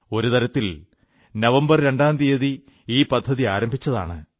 ഒരു തരത്തിൽ നവംബർ രണ്ടാംതീയതി ഈ പദ്ധതി ആരംഭിച്ചതാണ്